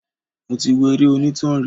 Mo ti wo eré onítàn rí.